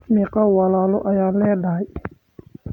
Meqoo walalo ayaa ledahy?